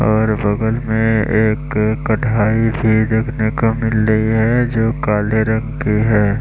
और बगल में एक कढ़ाई भी देखने को मिल रही है जो काले रंग की है।